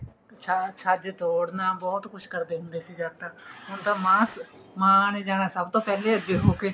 ਛਾਂ ਛੱਜ ਤੋਰਨਾ ਬਹੁਤ ਕੁੱਛ ਕਰਦੇ ਹੁੰਦੇ ਸੀ ਜਦ ਤਾਂ ਹੁਣ ਤਾਂ ਮਾਂ ਮਾਂ ਨੇ ਜਾਣਾ ਸਭ ਤੋ ਪਹਿਲਾਂ ਅੱਗੇ ਹੋਕੇ